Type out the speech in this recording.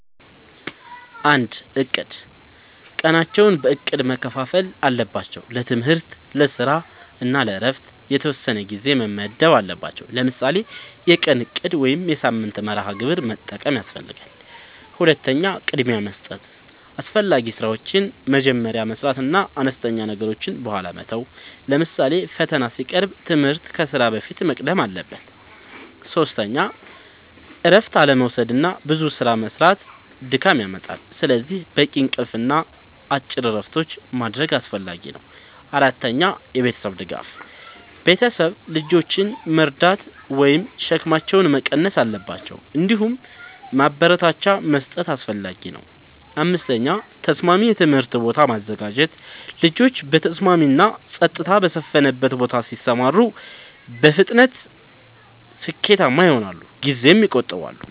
፩. እቅድ፦ ቀናቸውን በእቅድ መከፋፈል አለባቸው። ለትምህርት፣ ለስራ እና ለእረፍት የተወሰነ ጊዜ መመደብ አለባቸዉ። ለምሳሌ የቀን እቅድ ወይም የሳምንት መርሃ ግብር መጠቀም ያስፈልጋል። ፪. ቅድሚያ መስጠት፦ አስፈላጊ ስራዎችን መጀመሪያ መስራት እና አነስተኛ ነገሮችን በኋላ መተው። ለምሳሌ ፈተና ሲቀርብ ትምህርት ከስራ በፊት መቅደም አለበት። ፫. እረፍት አለመዉሰድና ብዙ ስራ መስራት ድካም ያመጣል። ስለዚህ በቂ እንቅልፍ እና አጭር እረፍቶች ማድረግ አስፈላጊ ነው። ፬. የቤተሰብ ድጋፍ፦ ቤተሰብ ልጆችን መርዳት ወይም ሸክማቸውን መቀነስ አለባቸው። እንዲሁም ማበረታቻ መስጠት አስፈላጊ ነው። ፭. ተስማሚ የትምህርት ቦታ ማዘጋጀት፦ ልጆች በተስማሚ እና ጸጥታ በሰፈነበት ቦታ ሲማሩ በፍጥነት ስኬታማ ይሆናሉ ጊዜም ይቆጥባሉ።